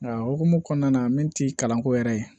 Nka hukumu kɔnɔna na min tɛ kalanko yɛrɛ ye